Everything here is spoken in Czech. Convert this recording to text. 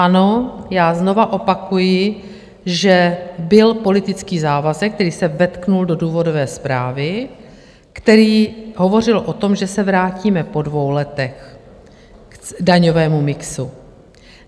Ano, já znovu opakuji, že byl politický závazek, který se vetknul do důvodové zprávy, který hovořil o tom, že se vrátíme po dvou letech k daňovému mixu.